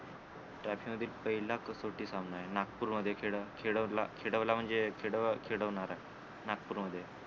अर्शदीप पहिला कसोटी सामना आहे नागपूर मध्ये खेळ खेळवला खेळवला म्हणजे खेळ खेळवणार आहे नागपूर मध्ये